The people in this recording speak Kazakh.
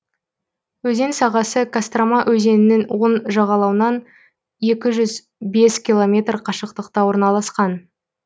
өзен сағасы кострома өзенінің оң жағалауынан екі жүз бес километр қашықтықта орналасқан